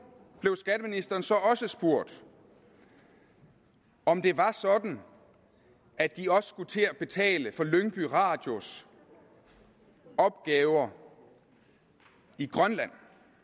blev skatteministeren så også spurgt om det var sådan at de også skulle til at betale for lyngby radios opgaver i grønland